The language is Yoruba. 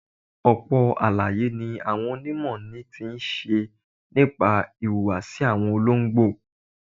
Ọ̀pọ̀ àlàyé ni àwọn onímọ̀ ni ti ṣe nípa ìhùwàsí àwọn olóńgbò.